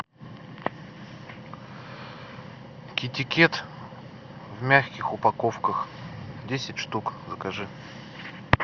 китикет в мягких упаковках десять штук закажи